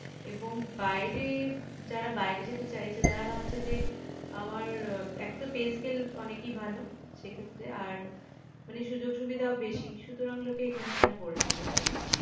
এবং বাইরে যারা বাইরে যেতে চাইছে তারা ভাবছে যে আমার আহ এক তো pay scale অনেকই ভালো সেক্ষেত্রে আর মানে সূযোগ সুবিধাও বেশি সুতরাং লোকে কেনো এখানে পড়ে থাকবে তাই না